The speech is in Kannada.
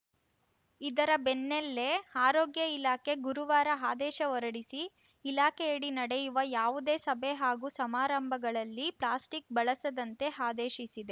ಇದರ ಬೆನ್ನಲ್ಲೇ ಆರೋಗ್ಯ ಇಲಾಖೆ ಗುರುವಾರ ಆದೇಶ ಹೊರಡಿಸಿ ಇಲಾಖೆಯಡಿ ನಡೆಯುವ ಯಾವುದೇ ಸಭೆ ಹಾಗೂ ಸಮಾರಂಭಗಳಲ್ಲಿ ಪ್ಲಾಸ್ಟಿಕ್‌ ಬಳಸದಂತೆ ಆದೇಶಿಸಿದೆ